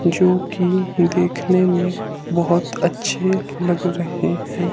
जोकि देखने में बहोत अच्छे लग रहे हैं।